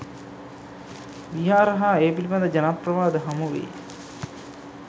විහාර හා ඒ පිළිබඳ ජනප්‍රවාද හමුවෙයි.